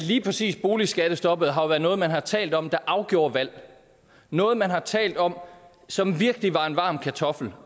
lige præcis boligskattestoppet har jo været noget man har talt om afgjorde valg noget man har talt om som virkelig var en varm kartoffel